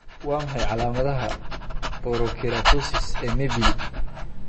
Waa maxay calaamadaha iyo calaamadaha Porokeratosis ee Mibelli?